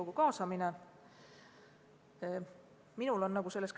Nüüd sellest, mis puudutab Riigikogu kaasamist.